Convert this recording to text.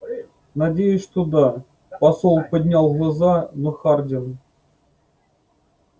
надеюсь что да посол поднял глаза но хардин